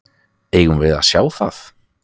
Eigum við að sjá það?